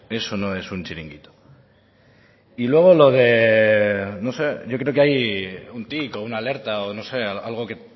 eso no es un chiringuito y luego lo de no sé yo creo que hay un tic o una alerta o no sé algo que